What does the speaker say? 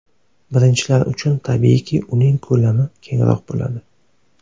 Birinchilar uchun, tabiiyki, uning ko‘lami kengroq bo‘ladi.